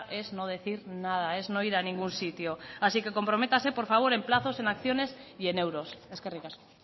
es no decir nada es no ir a ningún sitio así que comprométase por favor en plazos en acciones y en euros eskerrik asko